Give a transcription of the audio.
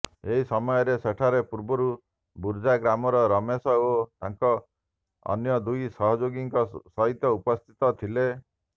ଏହି ସମୟରେ ସେଠାରେ ପୂର୍ବରୁ ବୁର୍ଜା ଗ୍ରାମର ରମେଶ ଓ ତାଙ୍କ ଅନ୍ୟ ଦୁଇ ସହଯୋଗୀଙ୍କ ସହିତ ଉପସ୍ଥିତ ଥିଲେ